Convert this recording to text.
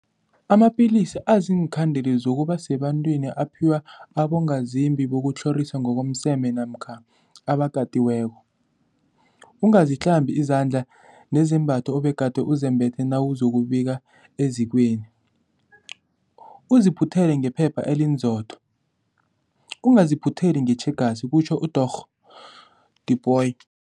Amapilisi aziinkhandeli zokuba sebantwini aphiwa abongazimbi bokutlhoriswa ngokomseme namkha abakatiweko. Ungahlambi izandla nezembatho obegade uzembethe nawuzokubika ezikweni, uziphuthele ngephepha elinzotho, ungaziphutheli ngetjhegasi, kutjho uDorh Tipoy.